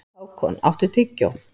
Hákon, áttu tyggjó?